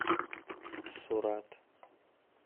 сурат